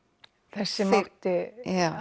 þessi sem átti